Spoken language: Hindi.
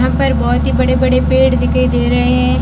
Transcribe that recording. यहां पर बहोत ही बड़े बड़े पेड़ दिखाई दे रहे हैं।